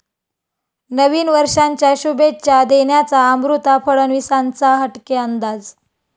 नवीन वर्षांच्या शुभेच्छा देण्याचा अमृता फडणवीसांचा हटके अंदाज!